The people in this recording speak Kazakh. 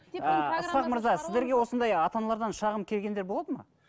ысқақ мырза сіздерге осындай ата аналардан шағым келгендер болады ма